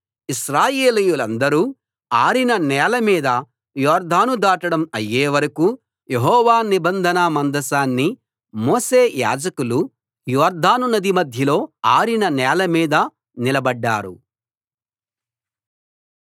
ఇశ్రాయేలీయులందరూ ఆరిన నేల మీద యొర్దాను దాటడం అయ్యే వరకూ యెహోవా నిబంధన మందసాన్ని మోసే యాజకులు యొర్దాను నది మధ్యలో ఆరిన నేల మీద నిలబడ్డారు